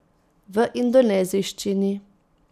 V indonezijščini.